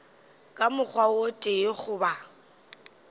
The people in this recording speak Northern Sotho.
ka mokgwa o tee goba